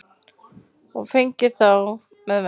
og flengir þá með vendi